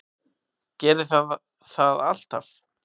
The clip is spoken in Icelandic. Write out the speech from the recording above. Gerið þið það alltaf?